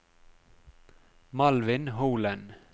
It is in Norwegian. Malvin Holen